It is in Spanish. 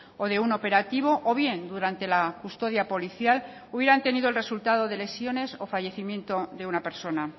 o de un operativo o bien durante la custodia policial hubieran tenido el resultado de lesiones o fallecimiento de una persona